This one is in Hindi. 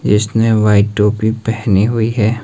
इसने व्हाइट टोपी पहनी हुई है।